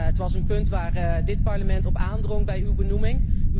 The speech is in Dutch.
Het was een punt waar dit Parlement op aandrong bij uw benoeming.